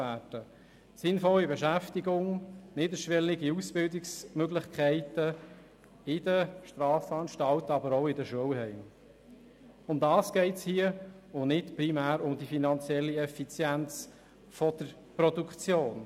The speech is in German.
Eine sinnvolle Beschäftigung sowie niederschwellige Ausbildungsmöglichkeiten in den Strafanstalten und in den Schulheimen – darum geht es hier und nicht primär um die finanzielle Effizienz der Produktion.